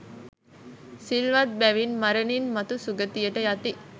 සිල්වත් බැවින් මරණින් මතු සුගතියට යති.